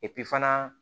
fana